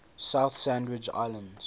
south sandwich islands